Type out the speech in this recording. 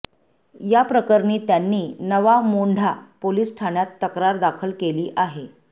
याप्रकरणी त्यांनी नवा मोंढा पोलीस ठाण्यात तक्रार दाखल केली आहे